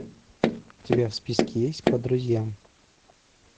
у тебя в списке есть по друзьям